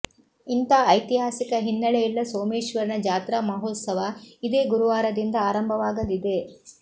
ಇಂಥ ಐತಿಹಾಸಿಕ ಹಿನ್ನೆಲೆಯುಳ್ಳ ಸೋಮೇಶ್ವರನ ಜಾತ್ರಾ ಮಹೋತ್ಸವ ಇದೇ ಗುರುವಾರದಿಂದ ಆರಂಭವಾಗಲಿದೆ